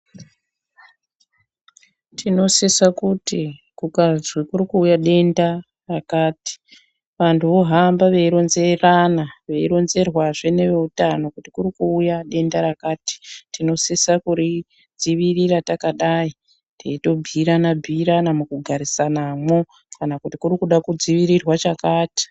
Tinosise kuti kukazi kurikuuye denda rakati, vantu vohamba veironzerana, veironzerwazve neveutano kuti kurikuuya denda rakati, tinosisa kuridziirira takadai teitobhiirana-bhiirana mukugarisanamo kana kuti kurikuda kudziirirwa chakati.